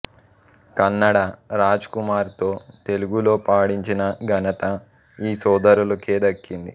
కన్నడ రాజ్ కుమార్తో తెలుగులో పాడించిన ఘనత ఈ సోదరులకే దక్కుతుంది